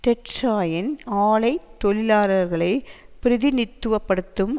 tetraene ஆலை தொழிலாளர்களை பிரதிநித்துவப்படுத்தும்